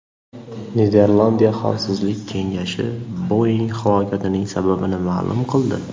Niderlandiya xavfsizlik kengashi Boeing halokatining sababini ma’lum qildi.